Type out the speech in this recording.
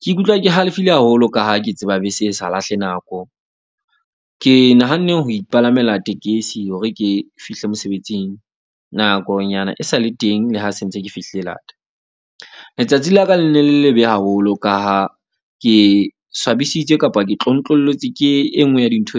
Ke ikutlwa ke halefile haholo ka ha ke tseba bese e sa lahle nako. Ke nahanne ho ipalamela tekesi hore ke fihle mosebetsing nakonyana e sale teng. Le ha se ntse ke fihlile lata. Letsatsi la ka le ne le lebe haholo ka ha ke swabisitse kapa ke tlontlolotse, ke enngwe ya dintho